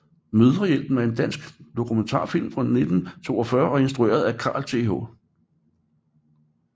Mødrehjælpen er en dansk dokumentarfilm fra 1942 instrueret af Carl Th